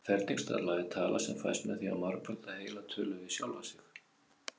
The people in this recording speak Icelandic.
Ferningstala er tala sem fæst með því að margfalda heila tölu við sjálfa sig.